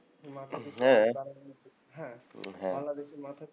বাংলাদেশে